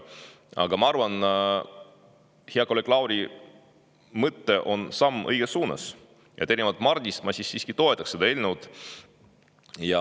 Aga ma arvan, et hea kolleegi Lauri mõte on samm õiges suunas, ja erinevalt Mardist ma siiski toetan seda eelnõu.